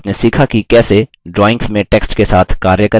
इस tutorial में आपने सीखा कि कैसे